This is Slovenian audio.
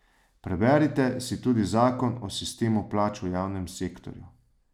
Preberite si tudi Zakon o sistemu plač v javnem sektorju.